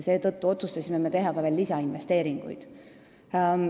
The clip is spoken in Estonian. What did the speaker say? Seetõttu otsustasime teha ka lisainvesteeringuid.